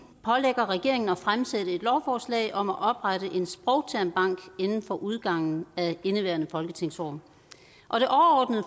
pålægger regeringen at fremsætte et lovforslag om at oprette en sprogtermbank inden for udgangen af indeværende folketingsår